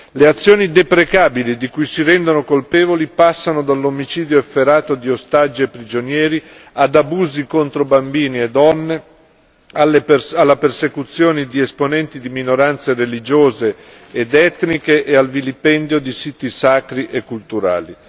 Le azioni deprecabili di cui si rendono colpevoli passano dall'omicidio efferato di ostaggi e prigionieri ad abusi contro bambini e donne, alle persecuzione di esponenti di minoranze religiose ed etniche e al vilipendio di siti sacri e culturali.